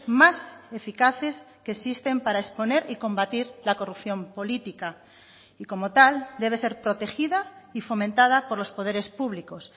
más eficaces que existen para exponer y combatir la corrupción política y como tal debe ser protegida y fomentada por los poderes públicos